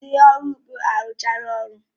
Ndị ọrụ ugbo arụchala ọrụ